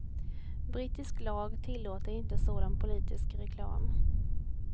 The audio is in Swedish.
Brittisk lag tillåter inte sådan politisk reklam.